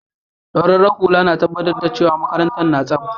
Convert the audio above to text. Naúrar lura na tabatar cewa makarantan na tsabta.